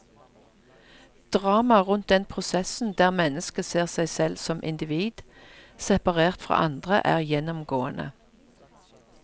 Dramaet rundt den prosessen der mennesket ser seg selv som individ, separert fra andre, er gjennomgående.